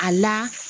A la